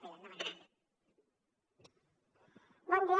bon dia